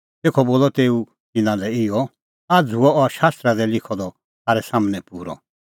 तेखअ बोलअ तेऊ तिन्नां लै इहअ आझ़ हुअ अह शास्त्रा दी लिखअ द थारै सम्हनै पूरअ